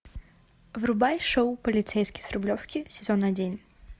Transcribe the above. врубай шоу полицейский с рублевки сезон один